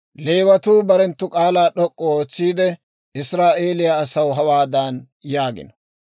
Leewatuu barenttu k'aalaa d'ok'k'u ootsiide, Israa'eeliyaa asaw hawaadan yaagino.